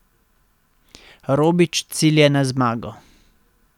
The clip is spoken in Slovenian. Robič cilja na zmago.